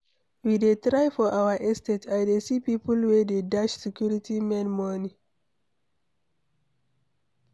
We dey try for our estate. I dey see people wey dey dash security men money.